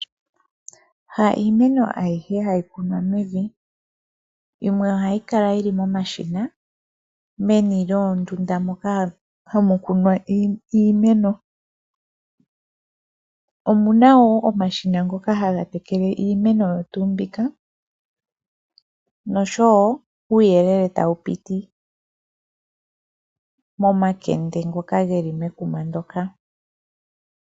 Ha iimeno ayihe hayi kunwa mevi. Yimwe ohayi kala yi li momashina meni lyoondunda moka hamu kunwa iimeno. Omu na wo omashina ngoka haga tekele iimeno oyo tuu mbika noshowo uuyelele tawu piti momakende ngoka ge li momakuma ngoka.